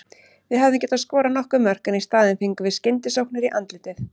Við hefðum getað skorað nokkur mörk en í staðinn fengum við skyndisóknir í andlitið.